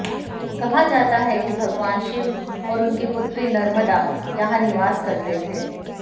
कहा जाता है कि भगवान शिव और उनकी पुत्री नर्मदा यहां निवास करते थे